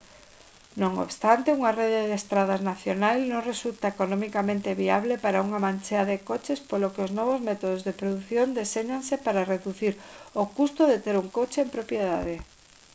non obstante unha rede de estradas nacional non resulta economicamente viable para unha manchea de coches polo que os novos métodos de produción deséñanse para reducir o custo de ter un coche en propiedade